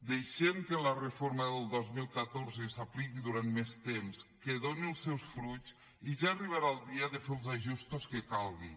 deixem que la reforma del dos mil catorze s’apliqui durant més temps que doni els seus fruits i ja arribarà el dia de fer els ajustos que calgui